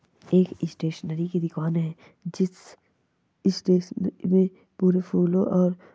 एक स्टेशनरी की दुकान है जिस स्टेशनरी में पूरे फूलों और--